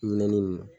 Minɛnni nunnu